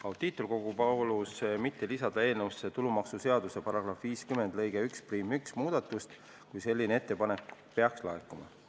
Audiitorkogu palus mitte lisada eelnõusse tulumaksuseaduse § 50 lõike 11 muudatust, kui selline ettepanek peaks laekuma.